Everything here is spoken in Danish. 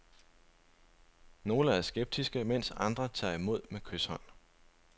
Nogle er skeptiske, mens andre tager imod med kyshånd.